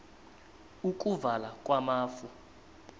ukuvala kwamafu